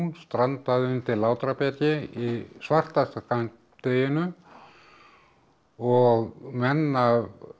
strandaði undir Látrabjargi í svartasta skammdeginu og menn af